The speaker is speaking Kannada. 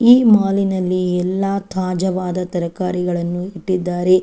ಈ ಮಾಲ್ ನಲ್ಲಿ ಎಲ್ಲ ತಾಜಾವಾದ ತರಕಾರಿಗಳನ್ನು ಇಟ್ಟಿದ್ದಾರೆ.